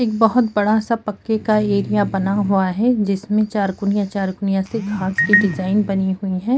एक बहुत बड़ा सा पक्के का एरिया बना हुआ है जिस में चारो कोनिया चारो कोनिया सी घांस की डिज़ाइन बनी हुई है।